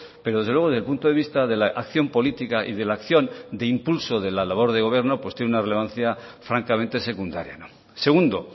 pero desde luego del punto de vista de la acción política y de la acción de impulso de la labor de gobierno pues tiene una relevancia francamente secundaria segundo